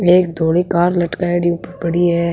एक धौली कार लटकायेडी ऊपर पड़ी है।